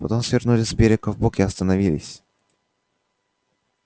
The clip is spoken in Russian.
потом свернули с берега вбок и остановились